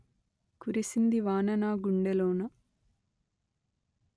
కురిసింది వాన నా గుండెలోన